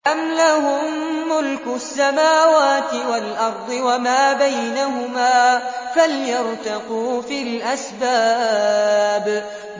أَمْ لَهُم مُّلْكُ السَّمَاوَاتِ وَالْأَرْضِ وَمَا بَيْنَهُمَا ۖ فَلْيَرْتَقُوا فِي الْأَسْبَابِ